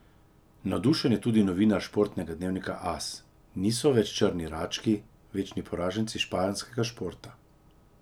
Navdušen je tudi novinar športnega dnevnika As: 'Niso več črni rački, večni poraženci španskega športa.